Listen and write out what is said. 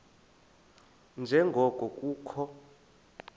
nje ngoko kukho